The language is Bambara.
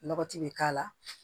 Lɔgɔti bɛ k'a la